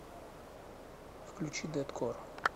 включи дэткор